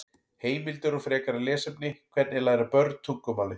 Heimildir og frekara lesefni: Hvernig læra börn tungumálið?